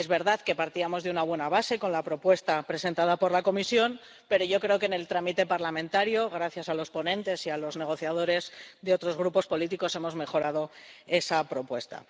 Es verdad que partíamos de una buena base con la propuesta presentada por la Comisión, pero yo creo que en el trámite parlamentario, gracias a los ponentes y a los negociadores de otros grupos políticos, hemos mejorado esa propuesta.